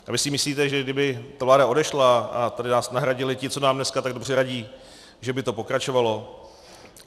A vy si myslíte, že kdyby ta vláda odešla a tady nás nahradili ti, co nám dneska tak dobře radí, že by to pokračovalo?